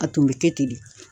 A tun bɛ kɛ ten de